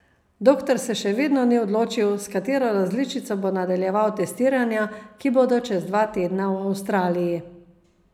Doktor se še vedno ni odločil, s katero različico bo nadaljeval testiranja, ki bodo čez dva tedna v Avstraliji.